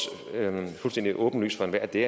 fuldstændig åbenlyst for enhver at det